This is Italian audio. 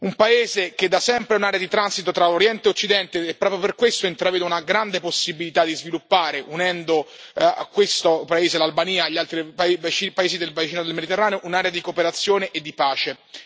Un paese che da sempre è un'area di transito tra Oriente e Occidente e proprio per questo intravedo una grande possibilità di sviluppare, unendo a questo paese, l'Albania, gli altri paesi del bacino del Mediterraneo, un'area di cooperazione e di pace.